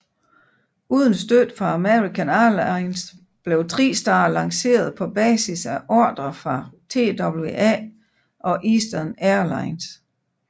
Uden støtte fra American Airlines blev TriStar lanceret på basis af ordrer fra TWA og Eastern Air Lines